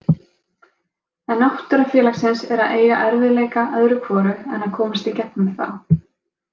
En náttúra félagsins er að eiga erfiðleika öðru hvoru en að komast í gegnum þá.